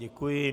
Děkuji.